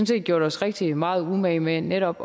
set gjort os rigtig meget umage med netop